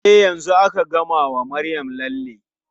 E, yanzu aka gama wa Maryam lalle.